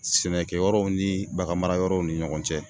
Sɛnɛkɛyɔrɔw ni baganmaraw ni ɲɔgɔn cɛ